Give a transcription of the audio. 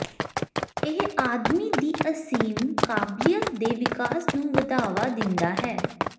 ਇਹ ਆਦਮੀ ਦੀ ਅਸੀਮ ਕਾਬਲੀਅਤ ਦੇ ਵਿਕਾਸ ਨੂੰ ਵਧਾਵਾ ਦਿੰਦਾ ਹੈ